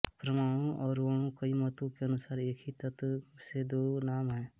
परमाणु और अणु कई मतों के अनुसार एक ही तत्व से दो नाम हैं